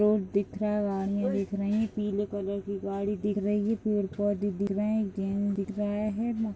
Road दिख रहे है एक नाइ पीले कलर की गाड़ी दिख रही है पेड़ पोधे दिख रहे है गेंद दिख रहे हैं।